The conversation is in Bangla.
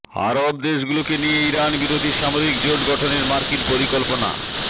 আরব দেশগুলোকে নিয়ে ইরান বিরোধী সামরিক জোট গঠনের মার্কিন পরিকল্পনা